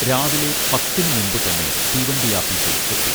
രാവിലെ പത്തിനു മുൻപ് തന്നെ തീവണ്ടിയാപ്പീസിൽ എത്തി